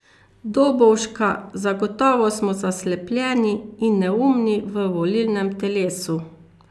Dobovška, zagotovo smo zaslepljeni in neumni v volilnem telesu.